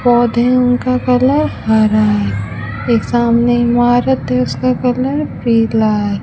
पौधे उनका कलर हरा है एक सामने इमारत है उसका कलर पीला है।